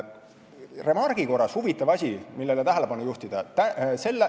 Remargi korras juhin tähelepanu ühele huvitavale asjale.